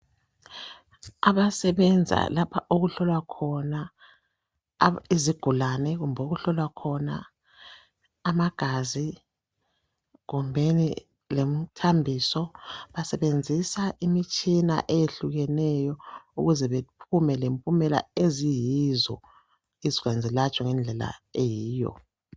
Abasebenza lapha okuhlowla khona izigulane kumbe okuhlolwa khona amagazi kumbeni lemthambiso. Besebenzisa imtshina eyehlukeneyo ukuze baphume lempumela eziyizo, izigulane zilatshwe ngendlela eyiyo.